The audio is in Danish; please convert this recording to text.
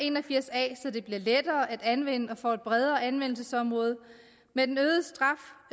en og firs a så den bliver lettere at anvende og får et bredere anvendelsesområde med den